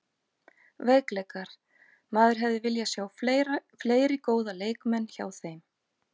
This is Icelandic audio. Veikleikar: Maður hefði viljað sjá fleiri góða leikmenn hjá þeim.